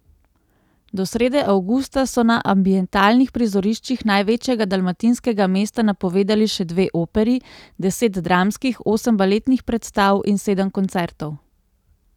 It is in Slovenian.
Do srede avgusta so na ambientalnih prizoriščih največjega dalmatinskega mesta napovedani še dve operi, deset dramskih, osem baletnih predstav in sedem koncertov.